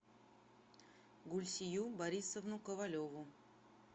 гульсию борисовну ковалеву